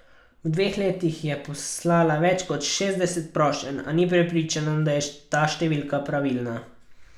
V dveh letih je poslala več kot šestdeset prošenj, a ni prepričana, da je ta številka pravilna.